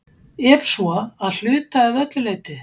Ef svo, að hluta eða öllu leyti?